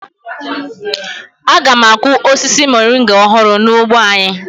Aga m akụ osisi moringa ọhụrụ n'ugbo anyị.